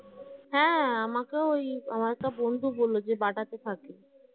হ্যাঁ আমাকেও ওই আমার একটা বন্ধু বলল যে BATA তে থাকে